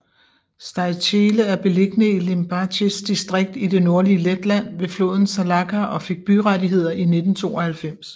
Staicele er beliggende i Limbažis distrikt i det nordlige Letland ved floden Salaca og fik byrettigheder i 1992